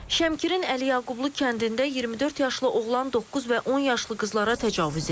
Şəmkirin Əliyaqublu kəndində 24 yaşlı oğlan doqquz və 10 yaşlı qızlara təcavüz edib.